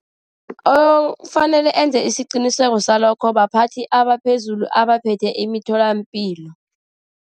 Okufanele enze isiqiniseko salokho baphathi abaphezulu, abaphethe imitholapilo.